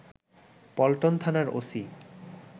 পল্টন থানার ওসি